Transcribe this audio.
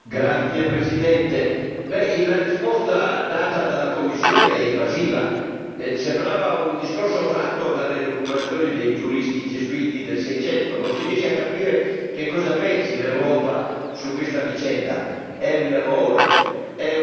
Signor Presidente, onorevoli colleghi, la risposta data dalla Commissione è evasiva, sembrava un discorso tratto dalle elucubrazioni dei giuristi gesuiti del Seicento. Non si riesce a capire che cosa pensi l'Europa su questa vicenda è un errore, è un crimine di guerra.